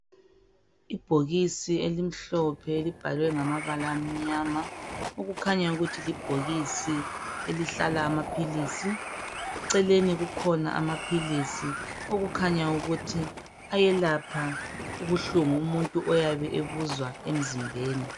Ibhokisi elimhlophe elibhalwe ngamabala amnyama okukhanya ukuthi libhokisi elihlala amaphilisi. Eceleni kukhona amaphilisi okukhanya ukuthi ayelapha ubuhlungu umuntu oyabe ebuzwa emzimbeni.